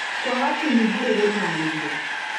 kwaga kĩnyĩ harĩ gũtaarĩria